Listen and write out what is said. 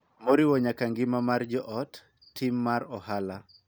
Moriwo nyaka ngima mar joot, tim mar ohala,